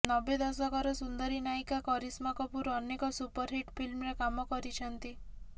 ନବେ ଦଶକର ସୁନ୍ଦରୀ ନାୟିକା କରିସ୍ମା କପୁର ଅନେକ ସୁପରହିଟ ଫିଲ୍ମରେ କାମ କରିଛନ୍ତି